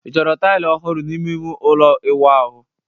Ị chọrọ taịlị ọhụrụ n'ime ime ụlọ ịwụ ahụ?